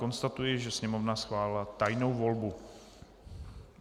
Konstatuji, že Sněmovna schválila tajnou volbu.